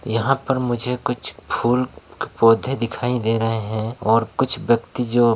यहाँ पर मुझे कुछ फूल पौधे दिखाई दे रहे है और कुछ व्यक्ति जो--